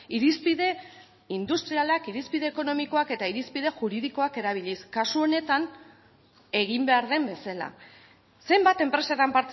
irizpide industrialak irizpide ekonomikoak eta irizpide juridikoak erabiliz kasu honetan egin behar den bezala zenbat enpresetan